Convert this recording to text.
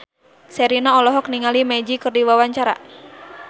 Sherina olohok ningali Magic keur diwawancara